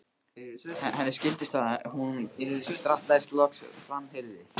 Henni skildist það þegar hún drattaðist loks fram, heyrði